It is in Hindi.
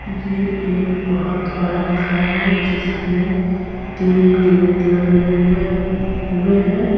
ये एक बहोत बड़ा घर है जिसमें तीन गेट लगे हुए हुए हैं।